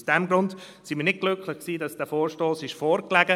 Deshalb sind wir nicht glücklich, dass dieser Vorstoss vorgelegt wurde.